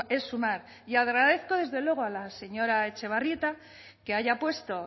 es sumar y agradezco desde luego a la señora etxebarrieta que haya puesto